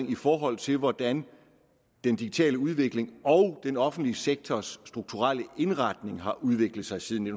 i forhold til hvordan den digitale udvikling og den offentlige sektors strukturelle indretning har udviklet sig siden